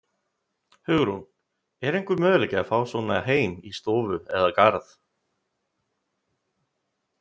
Hugrún: Er einhver möguleiki að fá svona heim í stofu eða garð?